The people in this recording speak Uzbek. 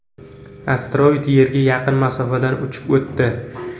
Asteroid Yerga yaqin masofadan uchib o‘tdi.